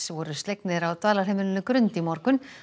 voru slegnir á dvalarheimilinu Grund í morgun